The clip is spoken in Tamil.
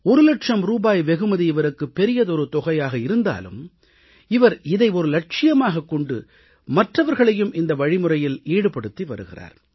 ஒரு லட்சம் ரூபாய் வெகுமதி இவருக்கு பெரியதொரு தொகையாக இருந்தாலும் இவர் இதை லட்சியமாகக் கொண்டு மற்றவர்களையும் இந்த வழிமுறையில் ஈடுபடுத்தி வருகிறார்